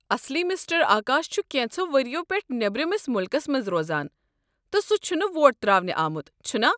اصلی مسٹر آکاش چھُ کینٛژھو ؤرِیو پیٹھہٕ نیٔبرِمِس مُلكس منٛز روزان، تہٕ سہُ چھُنہٕ ووٹ ترٛاونہِ آمُت، چھُنا؟